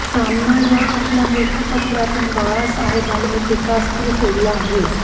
सामना या आपल्या मुखपत्रातून बाळासाहेबांनी टिकास्त्र सोडलं आहे